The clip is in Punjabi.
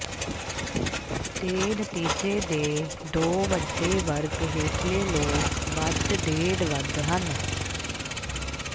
ਦੇ ਨਤੀਜੇ ਦੇ ਦੋ ਵੱਡੇ ਵਰਗ ਹੇਠਲੇ ਲੋਕ ਵੱਧ ਡੇਢ ਵੱਧ ਹਨ